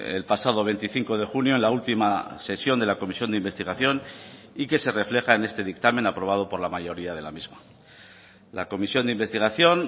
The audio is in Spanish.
el pasado veinticinco de junio en la última sesión de la comisión de investigación y que se refleja en este dictamen aprobado por la mayoría de la misma la comisión de investigación